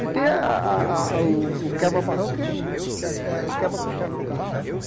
E tem a a a o o quebra-barrão que é o quebra-costela do gato, sabe?